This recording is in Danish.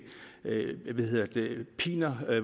piner